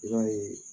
I b'a ye